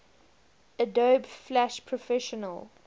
adobe flash professional